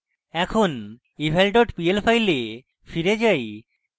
এখন eval dot pl file file যাই